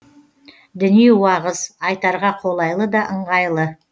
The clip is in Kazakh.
діни уағыз айтарға қолайлы да ыңғайлы